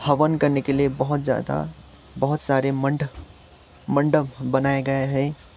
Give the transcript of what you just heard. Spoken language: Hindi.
हवन करने के लिए बहोत ज्यादा बहोत सारे मंडप मंडप बनाए गए हैं।